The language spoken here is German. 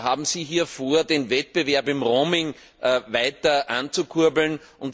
Haben Sie hier vor, den Wettbewerb im Roaming weiter anzukurbeln?